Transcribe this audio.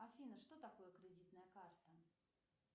афина что такое кредитная карта